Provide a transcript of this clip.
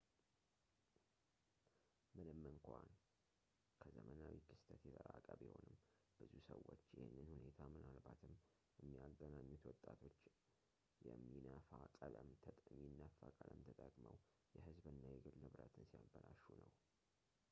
ምንም እንኳ ከዘመናዊ ክስተት የራቀ ቢሆንም ብዙ ሰዎች ይህንን ሁኔታ ምናልባትም የሚያገናኙት ወጣቶች የሚነፋ ቀለም ተጠቅመው የህዝብ እና የግል ንብረትን ሲያበላሹ ነው